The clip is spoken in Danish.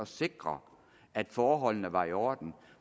sikre at forholdene var i orden